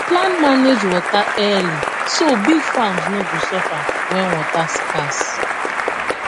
plan manage water early so big farms no go suffer when water scarce